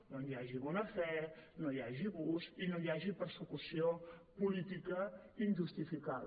doncs hi hagi bona fe no hi hagi abús i no hi hagi persecució política injustificada